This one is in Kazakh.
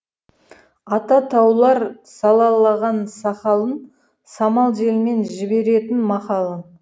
ата таулар салалаған сақалын самал желмен жіберетін мақалын